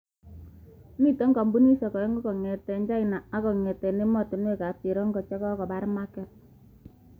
Mite kampunidiek aengu kongete China ak ake kongete ematunwek ab cherongo chekobor maket.